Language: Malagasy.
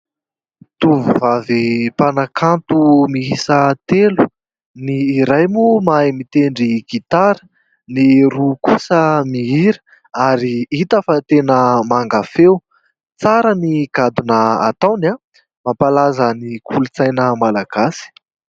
Tovovavy mpanakanto miisa telo, ny iray moa mahay mitendry gitara, ny roa kosa mihira ary hita fa tena manga feo, tsara ny gadona ataony a, mampalaza ny kolontsaina malagasy.